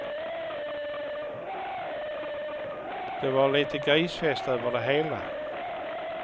Det var lite grisfest över det hela.